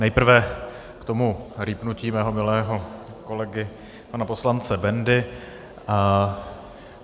Nejprve k tomu rýpnutí mého milého kolegy pana poslance Bendy.